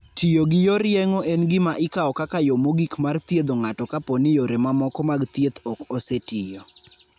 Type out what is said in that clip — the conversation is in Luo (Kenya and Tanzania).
Tiyo gi yor yeng'o en gima ikawo kaka yo mogik mar thiedho ng'ato kapo ni yore mamoko mag thieth ok osetiyo.